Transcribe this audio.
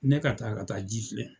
Ne ka taa ka taa ji filɛ.